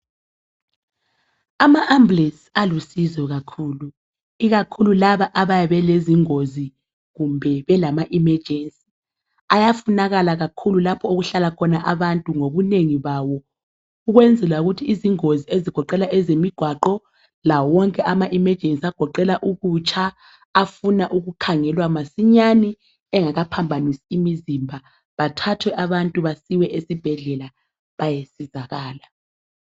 ama ambulence alusizo kakhulu ikakhulu laba abayabe belezingozi kumbe belam emergency ayafunakala kakhulu lapho oku hlala khona abantu ngobunengi bawo ukwenzela ukuthi izingozi ezigoqela ezemigwaqo lawo wonke ama emergency agoqela ukutsha afuna ukukhangelwa masinyane engakaphambanisi imizimba bathathwe abantu basiwe esibhedlela bayesizakala